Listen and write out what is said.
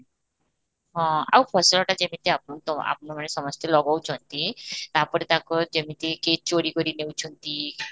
ଆଉ ଫସଲତା ଯେମିତି ଆପଣ ତ ଆପଣମାନେ ସମସ୍ତେ ଲଗଉଛନ୍ତି, ତା'ପରେ ତାଙ୍କର ଯେମିତିକି ଚୋରି କରି ନେଉଛନ୍ତି